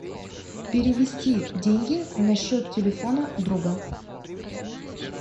перевести деньги на счет телефона друга